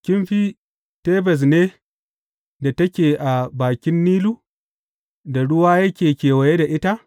Kin fi Tebes ne da take a bakin Nilu, da ruwa yake kewaye da ita?